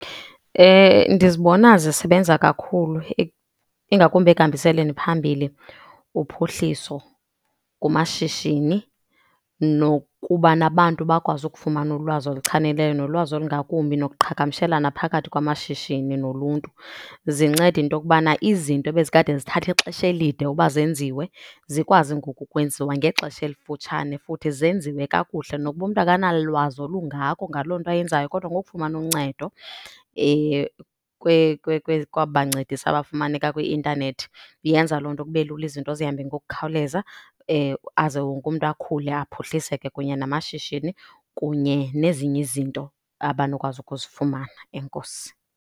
Ndizibona zisebenza kakhulu ingakumbi ekuhambiseni phambili uphuhliso kumashishini nokubana abantu bakwazi ukufumana ulwazi oluchanileyo nolwazi olungakumbi nokuqhagamshelana phakathi kwamashishini noluntu. Zinceda into yokubana izinto ebezikade zithatha ixesha elide uba zenziwe, zikwazi ngoku kwenziwa ngexesha elifutshane futhi zenziwe kakuhle. Nokuba umntu akanalwazi olungako ngaloo nto ayenzayo kodwa ngokufumana uncedo kwaba bancedisi abafumaneka kwi-intanethi, yenza loo nto kube lula, izinto zihambe ngokukhawuleza. Aze wonke umntu akhule aphuhliseke kunye namashishini, kunye nezinye izinto abanokwazi ukuzifumana. Enkosi.